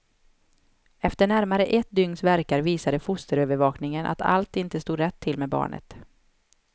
Efter närmare ett dygns värkar visade fosterövervakningen att allt inte stod rätt till med barnet.